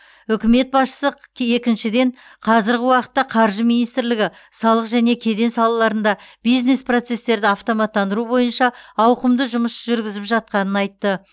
үкімет басшысы қы е екіншіден қазіргі уақытта қаржы министрлігі салық және кеден салаларында бизнес процестерді автоматтандыру бойынша ауқымды жұмыс жүргізіп жатқанын айтты